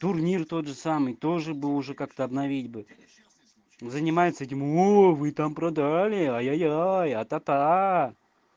турнир тот же самый тоже бы уже как-то обновить бы занимается этим увы там продали ой-ой-ой атата